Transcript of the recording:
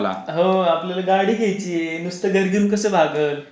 हो आपल्याला गाडी घ्यायची नुसतं घर घेऊन कसा भागला.